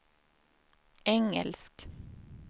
engelsk